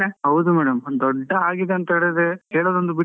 ಹೌದು madam , ದೊಡ್ಡ ಆಗಿದೆ ಅಂತೆಳಿದ್ರೆ, ಹೇಳೋದೊಂದು ಬಿಟ್ರೆ.